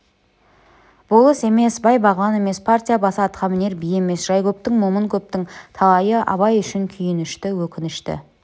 болыс емес бай-бағлан емес партия басы атқамінер би емес жай көптің момын көптің талайы абай үшін күйінішті өкінішті